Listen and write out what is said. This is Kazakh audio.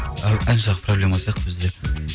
ән жағы проблема сияқты бізде